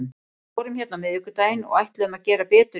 Við vorum hérna á miðvikudaginn og ætluðum að gera betur í dag.